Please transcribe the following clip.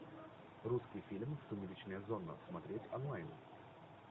русский фильм сумеречная зона смотреть онлайн